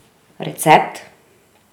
Recept?